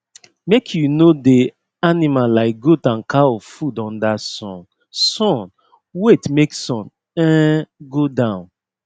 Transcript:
make u no dey animal like goat and cow food under sun sun wait make sun um go down